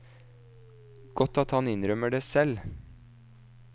Godt at han innrømmer det selv.